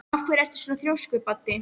Af hverju ertu svona þrjóskur, Baddi?